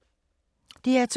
DR2